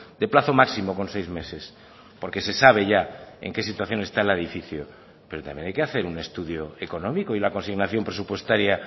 de plazo máximo con seis meses porque se sabe ya en qué situación está el edificio pero también hay que hacer un estudio económico y la consignación presupuestaria